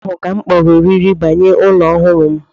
Ụnyaahụ ka m kpọrọ oriri mgbaghe ụlọ ọhụrụ m